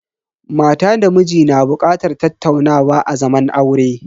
Mata da miji na bukatar tattaunawa a zaman aure.